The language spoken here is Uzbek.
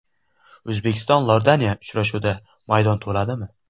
O‘zbekiston–Iordaniya uchrashuvida maydon to‘ladimi?